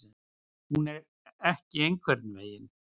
Hún er ekki einhvern veginn.